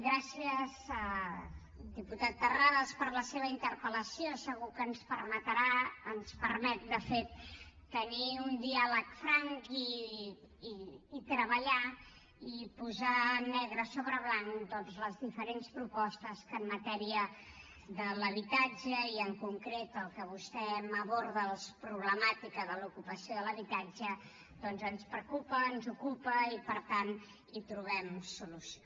gràcies diputat terrades per la seva interpel·lació segur que ens permetrà ens ho permet de fet tenir un diàleg franc i treballar i posar negre sobre blanc doncs les diferents propostes que en matèria de l’habitatge i en concret el que vostè m’aborda la problemàtica de l’ocupació de l’habitatge doncs ens preocupa ens ocupa i per tant hi trobem solució